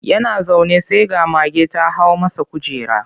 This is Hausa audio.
Yana zaune sai ga mage ta hau masa kujera.